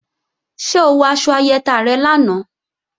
Ṣé o wọ aṣọ ayẹta rẹ lánàá?